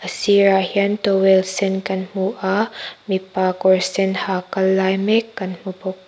a sir ah hian towel sen kan hmu a mipa kawr sen ha kal lai mek kan hmu bawk.